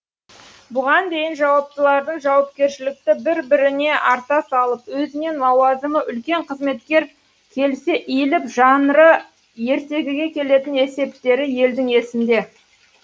бұған дейін жауаптылардың жауапкершілікті бір біріне арта салып өзінен лауазымы үлкен қызметкер келсе иіліп жанры ертегіге келетін есептері елдің есінде